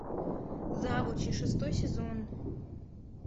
завучи шестой сезон